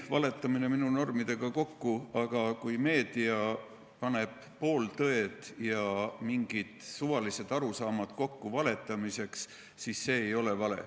Valetamine ei käi minu normidega kokku, aga kui meedia paneb pooltõed ja mingid suvalised arusaamad valetamise nime all kokku, siis see ei ole vale.